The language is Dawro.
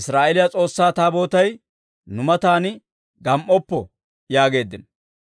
Israa'eeliyaa S'oossaa Taabootay nu matan gam"oppo» yaageeddino.